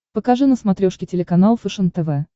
покажи на смотрешке телеканал фэшен тв